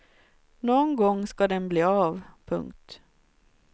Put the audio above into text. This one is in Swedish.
Nån gång ska den bli av. punkt